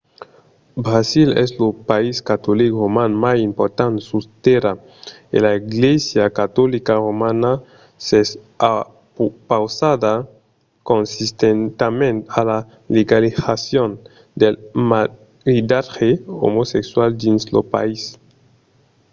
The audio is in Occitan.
brasil es lo país catolic roman mai important sus tèrra e la glèisa catolica romana s’es opausada consistentament a la legalizacion del maridatge omosexual dins lo país